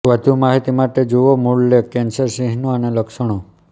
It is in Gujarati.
વધુ માહિતી માટે જુઓ મૂળ લેખ કેન્સર ચિહ્નો અને લક્ષણો